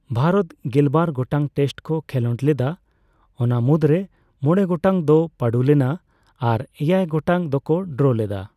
ᱵᱷᱟᱨᱚᱛ ᱜᱮᱞᱵᱟᱨ ᱜᱚᱴᱟᱝ ᱴᱮᱥᱴ ᱠᱚ ᱠᱮᱞᱳᱰ ᱞᱮᱫᱟ ᱚᱱᱟ ᱢᱩᱫᱨᱮ ᱢᱚᱬᱮ ᱜᱚᱴᱟᱝ ᱫᱚ ᱯᱟᱸᱰᱩ ᱞᱮᱱᱟ ᱟᱨ ᱮᱭᱟᱭ ᱜᱚᱴᱟᱝ ᱫᱚᱠᱚ ᱰᱚᱨᱚ ᱞᱮᱫᱟ ᱾